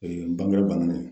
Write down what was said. bange bangenen.